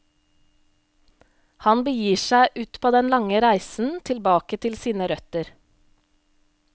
Han begir seg ut på den lange reisen tilbake til sine røtter.